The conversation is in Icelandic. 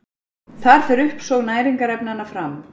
Þar fer uppsog næringarefnanna fram.